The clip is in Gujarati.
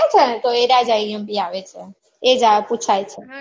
હા તો એર્યા જ IMP આવે છે એ જ પુછાય છે